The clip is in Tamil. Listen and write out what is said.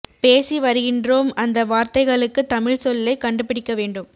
பேசி வருகின்றோம் அந்த வார்த்தைகளுக்கு தமிழ் சொல்லை கண்டு பிடிக்க வேண்டும்